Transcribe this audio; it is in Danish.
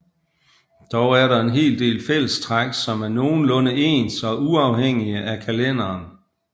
Dog er der en hel del fællestræk som er nogenlunde ens og uafhængige af kalenderen